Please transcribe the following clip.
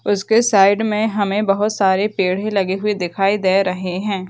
उसके साइड में हमे बहुत सारे पेड़े लगे हुए दिखाई दे रहे हैं ।